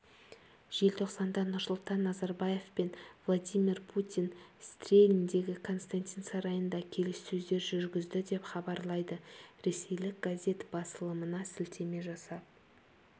желтоқсанда нұрсұлтан назарбаев пен владимир путин стрельндегі константин сарайында келіссөздер жүргізді деп хабарлайды ресейлік газет басылымына сілтеме жасап